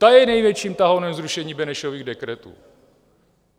Ta je největším tahounem zrušení Benešových dekretů.